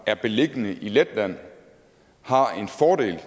er beliggende i letland har en